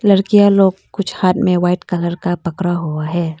लड़कियां लोग कुछ हाथ में वाइट कलर का पकड़ा हुआ है।